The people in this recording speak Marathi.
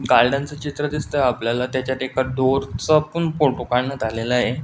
गार्डन च चित्र दिसतंय आपल्याला त्याच्यात एका डोअर चा पण फोटो काढण्यात आलेला आहे.